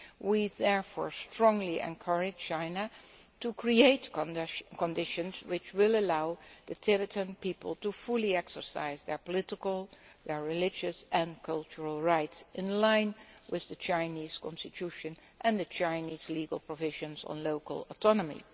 We therefore strongly encourage China to create conditions which will allow the Tibetan people to fully exercise their political, religious and cultural rights in line with the Chinese constitution and the Chinese legal provisions on local autonomy.